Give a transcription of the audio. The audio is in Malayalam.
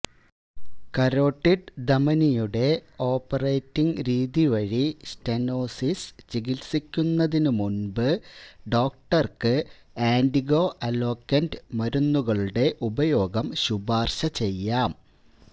കരോട്ടിഡ് ധമനിയുടെ ഓപ്പററ്റിങ് രീതി വഴി സ്റ്റെനോസിസ് ചികിത്സിക്കുന്നതിനു മുൻപ് ഡോക്ടർക്ക് ആന്റിഗോ അലോക്കന്റ് മരുന്നുകളുടെ ഉപയോഗം ശുപാർശ ചെയ്യാം